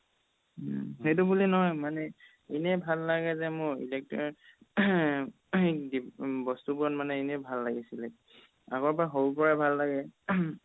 সেইটো বুলি নহয় মানে এনে ভাল লাগে যে মোৰ electrician throat বস্তুতোবোৰত মানে এনে ভাল লাগিছিলে আগৰ পাই সৰুৰ পাই ভাল লাগে throat